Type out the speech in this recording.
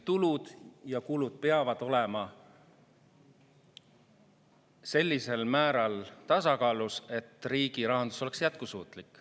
Tulud ja kulud peavad olema sellisel määral tasakaalus, et riigirahandus oleks jätkusuutlik.